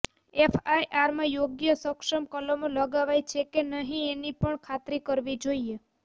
એફઆઈઆરમાં યોગ્ય અને સક્ષમ કલમો લગાવાઈ છે કે નહીં એની પણ ખાતરી કરવી જોઈએ